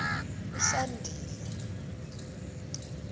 usandile